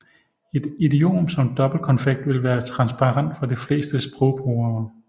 Et idiom som dobbeltkonfekt vil være transparent for de fleste sprogbrugere